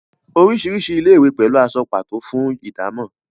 orisirisi ilé-ìwé pẹlú aṣọ pato fún ìdámò